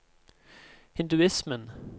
hinduismen